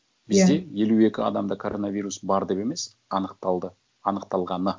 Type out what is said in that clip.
иә бізде елу екі адамда коронавирус бар деп емес анықталды анықталғаны